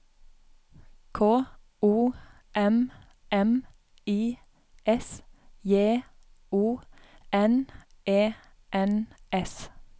K O M M I S J O N E N S